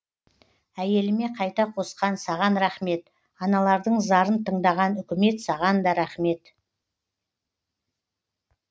әйеліме қайта қосқан саған рахмет аналардың зарын тыңдаған үкімет саған да рахмет